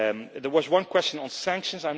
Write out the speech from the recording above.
There was one question on sanctions.